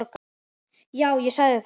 Já, ég sagði þetta.